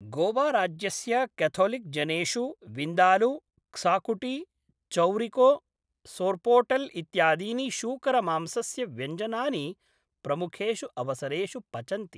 गोवाराज्यस्य क्याथोलिक्जनेषु विन्दालू, क्साकुटी, चौरिको, सोर्पोटेल् इत्यादीनि शूकरमांसस्य व्यञ्जनानि प्रमुखेषु अवसरेषु पचन्ति।